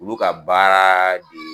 Olu ka baara de ye